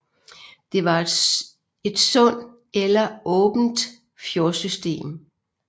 Det var et sund eller åbent fjordsystem